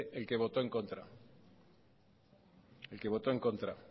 el que votó en contra el que votó en contra